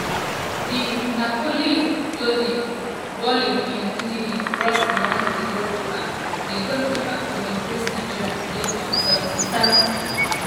di napoli-loanee volley in ndidi cross beyond di goalkeeper di goalkeeper to increase nigeria lead on 79 minutes.